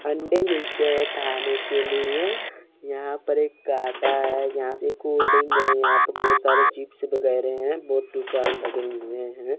अंडे मिलते हैं खाने के लिए यहां पर एक काटा है यहां पे कोलड्रिंक है यहां प बहोत सारे चिप्स वगैरे हैं बहोत दुकान लगे हुए हैं।